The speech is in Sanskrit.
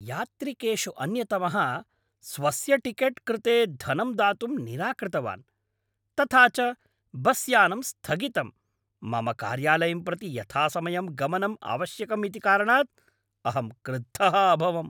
यात्रिकेषु अन्यतमः स्वस्य टिकेट् कृते धनं दातुं निराकृतवान्, तथा च बस्यानम् स्थगितम्, मम कार्यालयं प्रति यथासमयं गमनम् आवश्यकम् इति कारणात् अहं क्रुद्धः अभवम्।